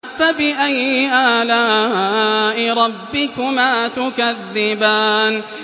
فَبِأَيِّ آلَاءِ رَبِّكُمَا تُكَذِّبَانِ